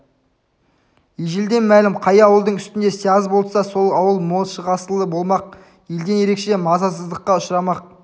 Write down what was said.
ежелден мәлім қай ауылдың үстінде сияз болса сол ауыл мол шығасылы болмақ елден ерекше мазасыздыққа ұшырамақ